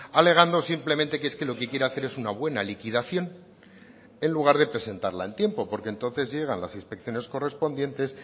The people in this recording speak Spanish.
alegando simplemente que es que lo que quiere hacer es una buena liquidación en lugar de presentarla en tiempo porque entonces llegan las inspecciones correspondientes